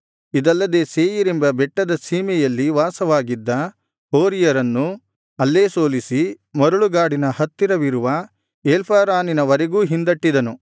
ಇದಲ್ಲದೆ ಸೇಯೀರೆಂಬ ಬೆಟ್ಟದ ಸೀಮೆಯಲ್ಲಿ ವಾಸವಾಗಿದ್ದ ಹೋರಿಯರನ್ನು ಅಲ್ಲೇ ಸೋಲಿಸಿ ಮರಳುಗಾಡಿನ ಹತ್ತಿರವಿರುವ ಎಲ್ಪಾರಾನಿನ ವರೆಗೂ ಹಿಂದಟ್ಟಿದನು